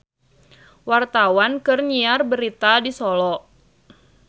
Wartawan keur nyiar berita di Solo